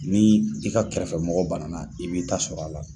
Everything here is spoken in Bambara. Ni i ka kɛrɛfɛ mɔgɔ bana i b'i ta sɔrɔ a la